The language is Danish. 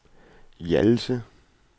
Hjallese